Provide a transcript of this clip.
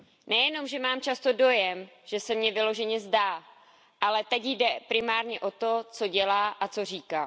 Nejenom, že mám často dojem, že se mně vyloženě zdá, ale teď jde primárně o to, co dělá a co říká.